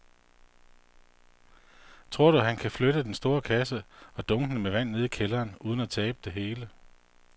Tror du, at han kan flytte den store kasse og dunkene med vand ned i kælderen uden at tabe det hele?